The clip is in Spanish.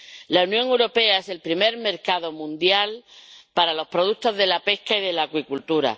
La Unión Europea es el primer mercado mundial para los productos de la pesca y de la acuicultura.